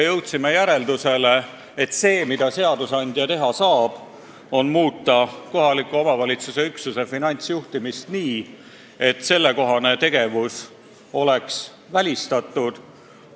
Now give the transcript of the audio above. Jõudsime järeldusele, et üks, mida seadusandja teha saab, on muuta kohaliku omavalitsuse üksuse finantsjuhtimist nii, et säärane taunitav tegevus oleks välistatud.